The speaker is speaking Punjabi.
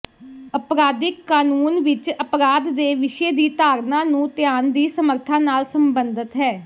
ਅਪਰਾਧਿਕ ਕਾਨੂੰਨ ਵਿਚ ਅਪਰਾਧ ਦੇ ਵਿਸ਼ੇ ਦੀ ਧਾਰਨਾ ਨੂੰ ਧਿਆਨ ਦੀ ਸਮਰੱਥਾ ਨਾਲ ਸਬੰਧਤ ਹੈ